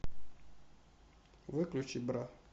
выключи бра